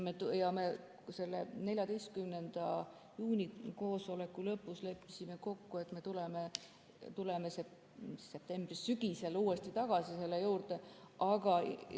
14. juuni koosoleku lõpus me leppisime kokku, et tuleme sügisel uuesti selle juurde tagasi.